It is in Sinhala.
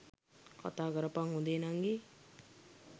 කතාකරපන් හොඳේ නංගී.